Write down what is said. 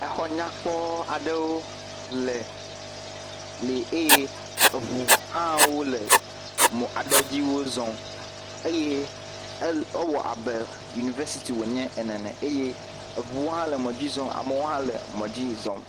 Exɔ nyakpɔ aɖewo le..li eye eŋuwo hã wole mɔ aɖe dziwo zɔm eye ewɔ abɔ Yuniversity wonye ene ne eye eŋuwo hã le mɔ dzi zɔm eye amewo hã le mɔ dzi zɔm.